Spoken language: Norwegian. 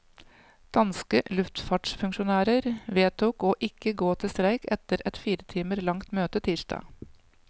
Danske luftfartsfunksjonærer vedtok å ikke gå til streik etter et fire timer langt møte tirsdag.